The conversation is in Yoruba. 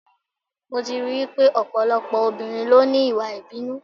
Mo ti rí I wípé ọ̀pọ̀lọpọ̀ obìnrin ló ní Ìwà ìbínú.